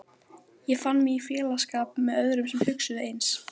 Ég fann mig í félagsskap með öðrum sem hugsuðu eins.